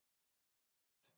Hún er blíð.